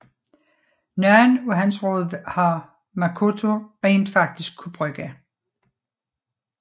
Nogen af hans råd har Makoto rent faktisk kunne bruge